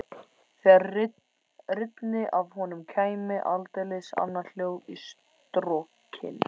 Þegar rynni af honum kæmi aldeilis annað hljóð í strokkinn.